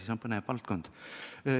See on põnev valdkond.